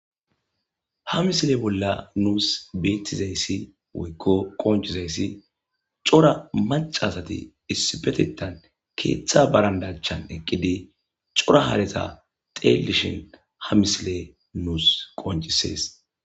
Ha misile bolla nuus beettizayssi woykko qoncizayssi cora macasati issipetetan keeththa barandachan eqqidi cora hareta teellishin ha misile nuus qoncisees.